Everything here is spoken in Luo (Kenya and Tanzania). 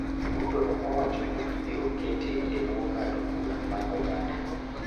Ruto ne owacho ni ibiro kete e bwo ng�ado bura mar oganda.